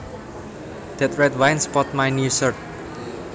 That red wine spotted my new shirt